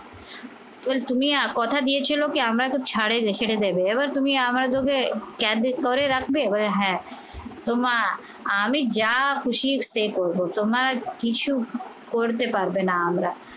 তুমি কথা দিয়েছিলে কি আমরা তো ছাড়েনি সেটা দেবে। এবার তুমি আমরা তোকে করে রাখবে বলে হ্যা তো মা আমি যা খুশি করবো তোমার কিছু করতে পারবে না আমরা